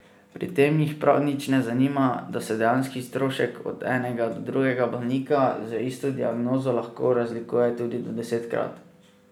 Pri tem jih prav nič ne zanima, da se dejanski strošek od enega do drugega bolnika z isto diagnozo lahko razlikuje tudi do desetkrat.